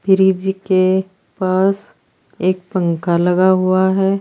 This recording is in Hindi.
फ्रिज के पास एक पंखा लगा हुआ है।